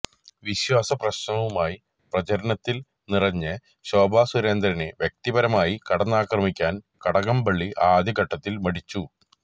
വിശ്വാസ പ്രശ്നവുമായി പ്രചരണത്തിൽ നിറഞ്ഞ ശോഭാ സുരേന്ദ്രനെ വ്യക്തിപരമായി കടന്നാക്രമിക്കാൻ കടകംപള്ളി ആദ്യ ഘട്ടത്തിൽ മടിച്ചു